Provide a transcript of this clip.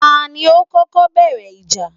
Ta ni ó kọ́kọ́ bẹ̀rẹ̀ ìjà?